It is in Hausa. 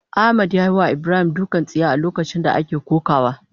Ahmad yayiwa Ibrahim dukan tsiya a lokacin da ake kokawa.